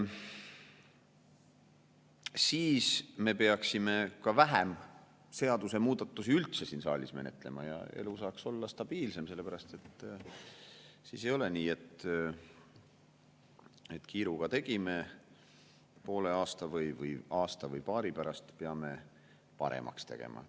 Siis me peaksime ka üldse vähem seadusemuudatusi siin saalis menetlema ja elu saaks olla stabiilsem, sellepärast et siis ei oleks nii, et kiiruga tegime, poole aasta või aasta või paari pärast peame paremaks tegema.